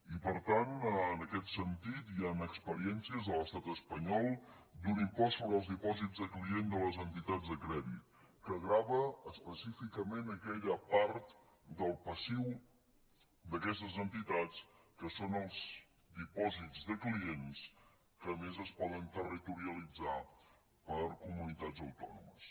i per tant en aquest sentit hi han experiències de l’estat espanyol d’un impost sobre els dipòsits de clients de les entitats de crèdit que grava específicament aquella part del passiu d’aquestes entitats que són els dipòsits de clients que a més es poden territorialitzar per comunitats autònomes